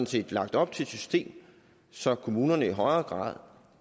set lagt op til et system så kommunerne i højere grad